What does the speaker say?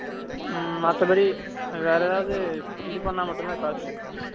ம் மத்தபடி வேற ஏதாவது இது பண்ணா மட்டும் தான் காசு